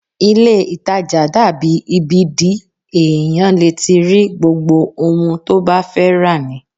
Ilé-ìtàjà dàbí ibi the èèyàn lè ti rí gbogbo ohun tó bá fẹ́ rà ni